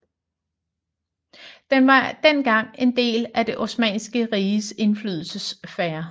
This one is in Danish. Den var dengang en del af Det Osmanniske Riges indflydelsessfære